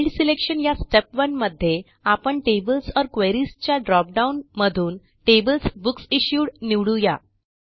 field selection या step 1 मध्ये आपण टेबल्स ओर क्वेरीज च्या ड्रॉप डाऊन मधूनTablesBooksIssued निवडू या